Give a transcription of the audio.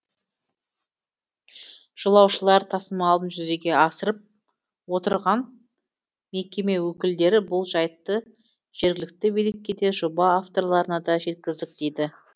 жолаушылар тасымалын жүзеге асырып отырған мекеме өкілдері бұл жайтты жергілікті билікке де жоба авторларына да жеткіздік дейді